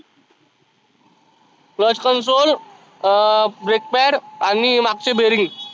cluch console अं break pad आणि मागचे bearing